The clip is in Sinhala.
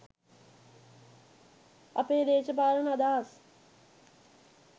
අපේ දේශපාලන අදහස්